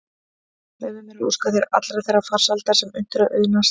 Leyfðu mér að óska þér allrar þeirrar farsældar sem unnt er að auðnast.